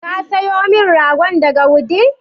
Ka sayo min ragon daga Wudil?